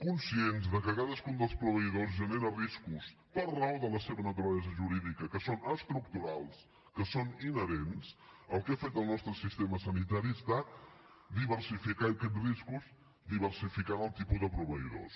conscients que cadascun dels proveïdors genera riscos per raó de la seva naturalesa jurídica que són estructurals que són inherents el que ha fet el nostre sistema sanitari ha estat diversificar aquests riscos diversificant el tipus de proveïdors